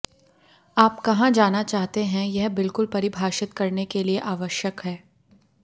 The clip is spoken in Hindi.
आप कहां जाना चाहते हैं यह बिल्कुल परिभाषित करने के लिए आवश्यक है